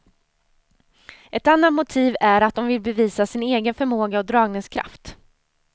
Ett annat motiv är att de vill bevisa sin egen förmåga och dragningskraft.